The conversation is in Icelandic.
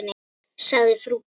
sagði frú Petra.